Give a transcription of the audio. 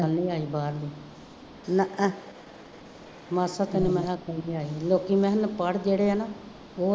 ਹੁਣ ਨਹੀਂ ਆਈ ਬਾਹਰ, ਨਾ ਆ, ਮਾਸਾਂ ਤੈਨੂੰ ਮੈਂ ਕਿਹਾ ਕੁੜੀ ਥਿਆਈ ਸੀ, ਲੋਕੀ ਮੈਂ ਕਿਹਾ ਅਨਪੜ੍ਹ ਜਿਹੜੇ ਹੈ ਨਾ